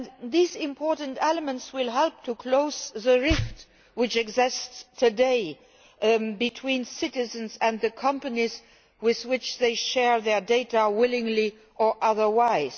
These important elements will help to close the rift which exists today between citizens and the companies with which they share their data, willingly or otherwise.